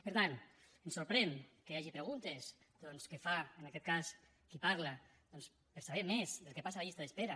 per tant ens sorprèn que hi hagi preguntes que fa en aquest cas qui parla per saber més del que passa a les llistes d’espera